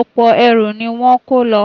ọ̀pọ̀ ẹrù ni wọ́n ń kó lọ